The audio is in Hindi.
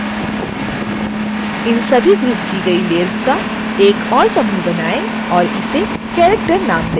इन सभी ग्रुप की गई layers का एक और समूह बनाएं और इसे character नाम दें